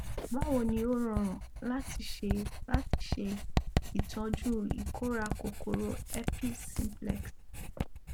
báwo ni ó rọrùn láti ṣe láti ṣe ìtọjú ìkórà kòkò rò herpes simplex